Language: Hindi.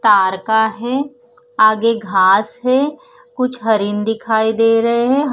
तार का है आगे घास है कुछ हरिन दिखाई दे रहे है ह--